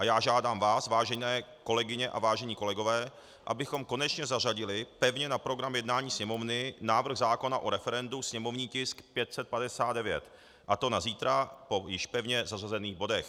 A já žádám vás, vážené kolegyně a vážení kolegové, abychom konečně zařadili pevně na program jednání Sněmovny návrh zákona o referendu, sněmovní tisk 559, a to na zítra po již pevně zařazených bodech.